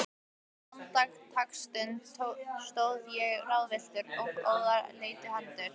Andartaksstund stóð ég ráðvilltur, en óðara leituðu hendur